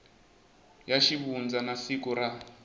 ya xivundza na siku ra